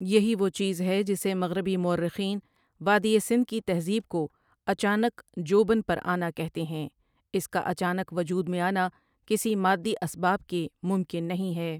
یہی وہ چیز ہے جسے مغربی مورخین وادی سندھ کی تہذیب کو اچانک جو بن پر آنا کہتے ہیں اس کا اچانک وجود میں آنا کسی مادی اسباب کے ممکن نہیں ہے ۔